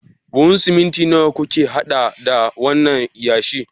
Buhun siminti nawa kuka hada da wannan yashi?